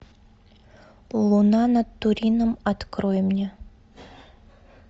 луна над турином открой мне